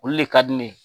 Olu le ka di ne ye